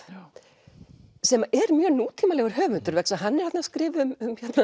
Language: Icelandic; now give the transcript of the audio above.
sem er mjög nútímalegur höfundur vegna þess að hann er þarna að skrifa um